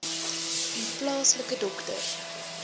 u plaaslike dokter